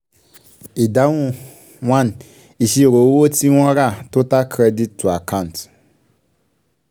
ìdáhùn one ìṣirò owó tí wọ́n rà total credito account